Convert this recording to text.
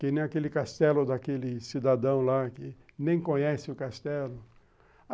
Que nem aquele castelo daquele cidadão lá que nem conhece o castelo.